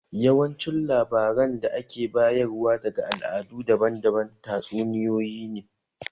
Yawancin labaran da ake bayar wa daga al'adu daban-daban, tatsuniyoyi ne